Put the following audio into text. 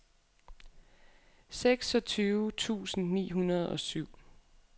seksogtyve tusind ni hundrede og syv